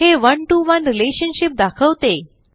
हे one to one relationship दाखवते